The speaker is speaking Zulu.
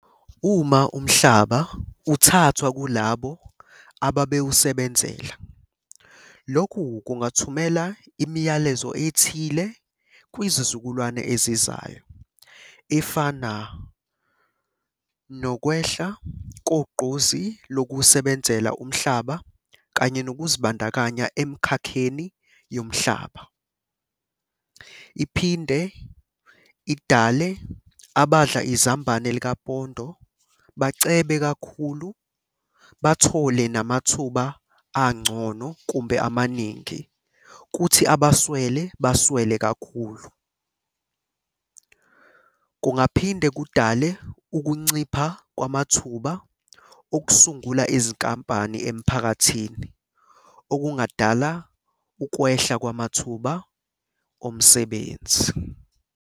Uma umhlaba uthathwa kulabo ababewusebenzela. Lokhu kungathumela imiyalezo ethile kwizizukulwane ezizayo, efana nokwehla kogqozi lokuwusebenzela umhlaba kanye nokuzibandakanya emkhakheni yomhlaba. Iphinde idale abadla izambane likapondo bacebe kakhulu, bathole namathuba angcono kumbe amaningi, kuthi abaswele baswele kakhulu. Kungaphinde kudale ukuncipha kwamathuba okusungula izinkampani emphakathini, okungadala ukwehla kwamathuba omsebenzi.